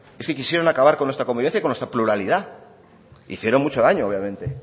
es que quisieron acabar con nuestra comunidad y con nuestra pluralidad hicieron mucho daño obviamente